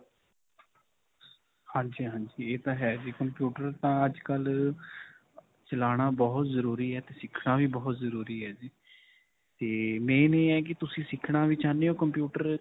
ਹਾਂਜੀ ,ਹਾਂਜੀ. ਇਹ ਤਾਂ ਹੈ computer ਤਾਂ ਅੱਜਕਲ੍ਹ ਅਅ ਚਲਾਉਣਾ ਬਹੁਤ ਜ਼ਰੂਰੀ ਹੈ 'ਤੇ ਸਿੱਖਣਾ ਵੀ ਬਹੁਤ ਜ਼ਰੂਰੀ ਹੈ ਜੀ 'ਤੇ main ਇਹ ਹੈ ਕਿ ਤੁਸੀਂ ਸਿੱਖਣਾ ਵੀ ਚਾਹੁੰਦੇ ਹੋ computer.